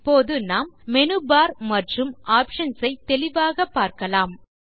இப்போது நாம் menu bar மற்றும் ஆப்ஷன்ஸ் ஐ தெளிவாகப் பார்க்கலாம்